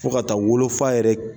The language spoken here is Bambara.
Fo ka taa wolofa yɛrɛ.